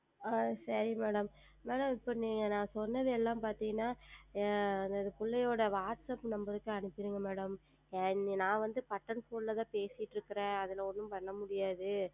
ஆஹ் சரி Madam Madam இப்பொழுது நான் சொன்னது எல்லாம் பார்த்தீர்கள் என்றால் எங்கள் பிள்ளையுடைய Whatsapp Number க்கு அனுப்பிடுங்கள் Madam நான் வந்து Button Phone ல தான் பேசி கொண்டு இருக்கிறேன் அதில் ஒன்றும் செய்ய முடியாது